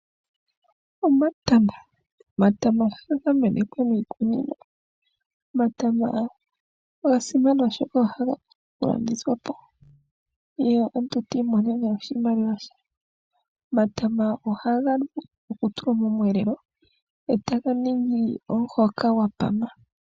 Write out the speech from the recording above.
Omatama Omatama ohaga menekwa miikunino. Omatama oga simana oshoka ohaga landithwa po ye omuntu ti imonene oshimaliwa she. Omatama ohaga vulu okutulwa momweelelo e taga ningi omuhoka gwa pama.